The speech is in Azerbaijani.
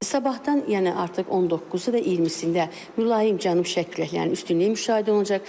Sabahdan yəni artıq 19-u və 20-sində mülayim cənub-şərq küləklərinin üstünlüyü müşahidə olunacaq.